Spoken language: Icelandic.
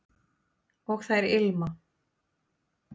og þær ilma